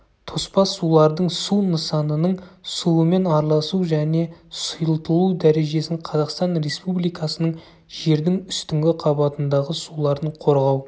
тоспа сулардың су нысанының суымен араласу және сұйылтылу дәрежесін қазақстан республикасының жердің үстіңгі қабатындағы суларын қорғау